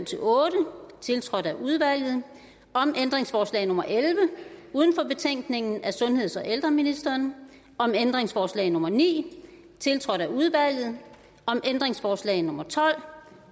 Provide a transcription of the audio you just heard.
otte tiltrådt af udvalget om ændringsforslag nummer elleve uden for betænkningen af sundheds og ældreministeren om ændringsforslag nummer ni tiltrådt af udvalget om ændringsforslag nummer tolv